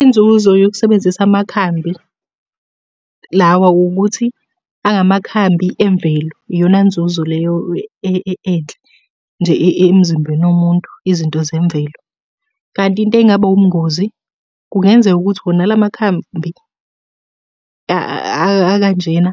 Inzuzo yokusebenzisa amakhambi lawa ukuthi, angamakhambi emvelo. Iyona nzuzo leyo enhle, nje emzimbeni womuntu, izinto zemvelo. Kanti into engaba ubungozi, kungenzeka ukuthi wona la makhambi akanjena